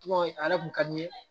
Tɔgɔ ye a yɛrɛ kun ka di n ye